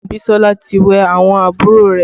Abisola ti wẹ̀ àwọn àbúrò rẹ̀